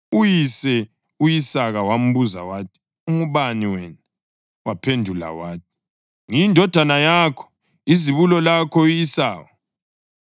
Uyise u-Isaka wambuza wathi, “Ungubani wena?” Waphendula wathi, “Ngiyindodana yakho, izibulo lakho u-Esawu.”